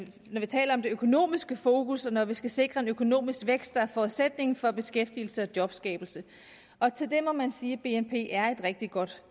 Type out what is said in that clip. økonomiske fokus og når vi skal sikre en økonomisk vækst der er forudsætningen for beskæftigelse og jobskabelse og til det må man sige at bnp er et rigtig godt